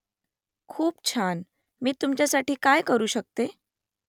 खूप छान . मी तुमच्यासाठी काय करू शकते ?